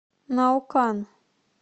наукан